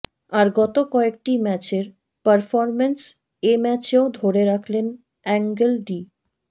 আর গত কয়েকটি ম্যাচের পারফরম্যান্স এ ম্যাচেও ধরে রাখলেন অ্যাঙ্গেল ডি